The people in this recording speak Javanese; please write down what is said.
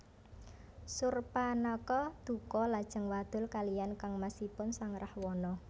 Surpanakha duka lajeng wadul kaliyan kangmasipun sang Rahwana